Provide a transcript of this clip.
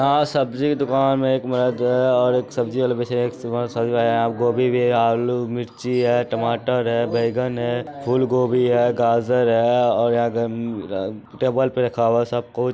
यहां सब्जी के दुकान में एक मर्द हेय एक सब्जी वाला के बेचे गोभी भी हेय अल्लू मिर्ची हेय टमाटर हेय बैगन हेय फूलगोभी हेय गाजर हेय और यहां ध टेबल पर रखा हुआ है सब कुछ।